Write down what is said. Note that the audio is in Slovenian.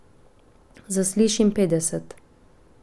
Zaslišim petdeset.